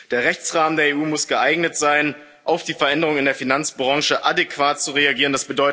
der Rechtsrahmen der EU muss geeignet sein, auf die Veränderung in der Finanzbranche adäquat zu reagieren.